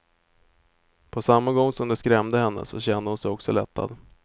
På samma gång som det skrämde henne, så kände hon sig också lättad.